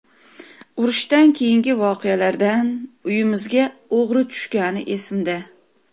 Urushdan keyingi voqealardan uyimizga o‘g‘ri tushgani esimda.